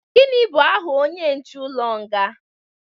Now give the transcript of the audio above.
gini bu aha onye nche ulo nga?